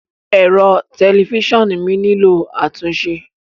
Ẹ̀rọ tẹlifíṣàn mi nílò àtúnṣe.